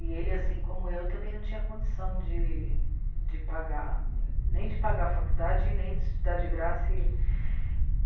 E ele, assim como eu, também não tinha condição de... de pagar, nem de pagar a faculdade e nem de estudar de graça e...